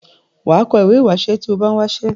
wà á kọ ìwé ìwásẹ́ tí o bá n̄ wásẹ́.